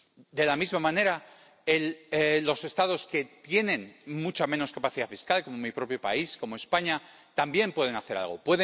De la misma manera, los Estados que tienen mucha menos capacidad fiscal, como mi propio país, como España, también pueden hacer algo.